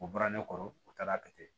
U bɔra ne kɔrɔ u taara kɛ ten